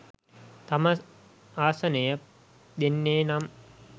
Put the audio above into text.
තම ආසනය දෙන්නේනම්